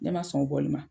Ne ma sɔn o bɔli ma